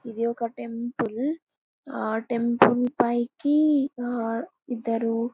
ఇది ఒక టెంపుల్ . ఆ టెంపుల్ పైకి ఆ ఇద్దరు--